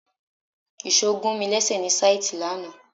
Ìṣò gùn mi léṣe ní síìtì lánàá